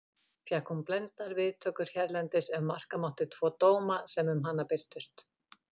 Fékk hún blendnar viðtökur hérlendis ef marka mátti tvo dóma sem um hana birtust.